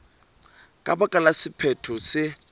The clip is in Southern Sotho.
ka baka la sephetho se